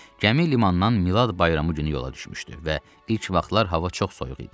Gəmi limandan Milad bayramı günü yola düşmüşdü və ilk vaxtlar hava çox soyuq idi.